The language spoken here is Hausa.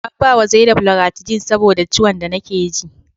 An bawa zainab loratidine saboda ciwon da nake ji